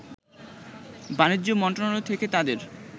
বাণিজ্য মন্ত্রণালয় থেকে তাদের